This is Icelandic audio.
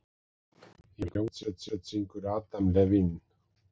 Í hvaða hljómsveit syngur Adam Levine?